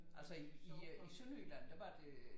Altså i i øh i Sønderjylland der var det øh